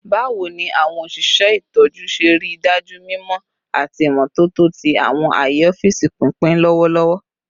Bawo ni awọn oṣiṣẹ itọju ṣe rii daju mimọ ati imototo ti awọn aaye ọfiisi pinpin lọwọlọwọ?